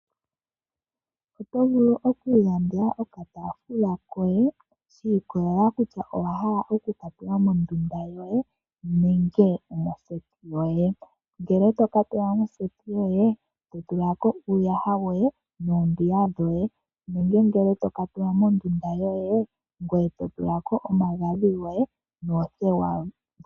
Oto vulu oku ilandela okatafula koye, shi ikolelela kutya owa hala oku ka tula mondunda yoye nenge moseti yoye. Ngele oto ka tula moseti yoye, to tula ko uuyaha woye noombiga dhoye. Nenge ngele to ka tula mondunda yoye, ngoye to tula ko omagadhi goye noothewa.